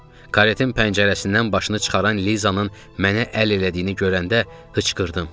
Karetin pəncərəsindən başını çıxaran Lizanın mənə əl elədiyini görəndə hıçqırdım.